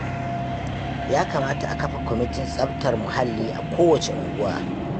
Ya kamata a kafa kwamitin tsaftar muhalli a kowacce unguwa